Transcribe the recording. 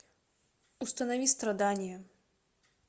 установи страдание